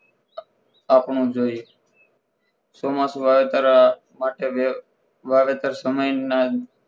આપણો જોઈએ ચોમાસુ આવે તારા માટે વાવેતર સમયના